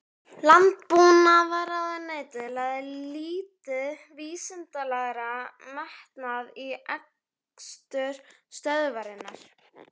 Landbúnaðarráðuneytið lagði lítinn vísindalegan metnað í rekstur stöðvarinnar.